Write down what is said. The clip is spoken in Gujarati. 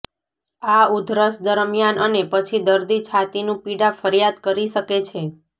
આ ઉધરસ દરમ્યાન અને પછી દર્દી છાતીનું પીડા ફરિયાદ કરી શકે છે